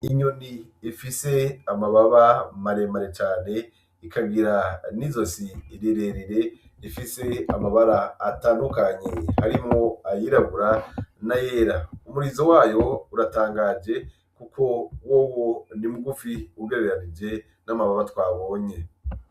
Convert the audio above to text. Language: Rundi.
Inyoni efise amababa maremare cane ikagira n'izo si irererere efise amabara atandukanyi harimo ayirabura na yera umurizo wayo uratangaje, kuko wo wo ndi mugufi ugarerarije n'amababa twabonye.